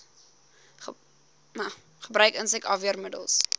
gebruik insek afweermiddels